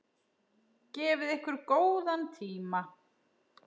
Gefið ykkur góðan tíma.